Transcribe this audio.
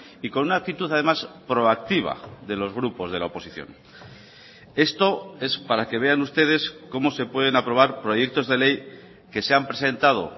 y con una actitud además proactiva de los grupos de la oposición esto es para que vean ustedes cómo se pueden aprobar proyectos de ley que se han presentado